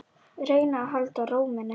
Reyna að halda ró minni.